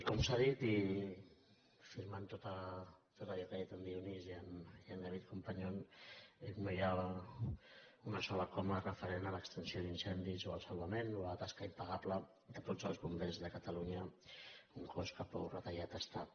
com s’ha dit i afirmant tot allò que han dit el dionís i en david companyon no hi ha una sola coma referent a l’extinció d’incendis o al salvament o a la tasca impagable de tots els bombers de catalunya un cos que prou retallat està